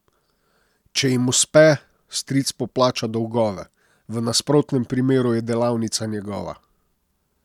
Če jim uspe, stric poplača dolgove, v nasprotnem primeru je delavnica njegova...